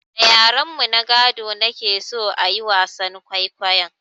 Da yaren mu na gado na ke so a yi wasan kwaikwayon